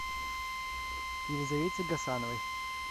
елизавете гасановой